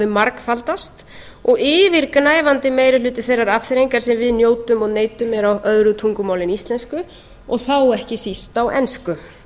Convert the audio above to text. margfaldast og yfirgnæfandi meiri hluti þeirrar afþreyingar sem við njótum og neytum er á öðru tungumáli en íslensku og þá ekki síst á ensku